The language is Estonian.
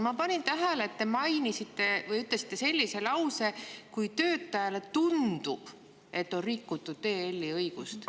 Ma panin tähele, et te ütlesite sellise lause: "Kui töötajale tundub, et on rikutud EL-i õigust ...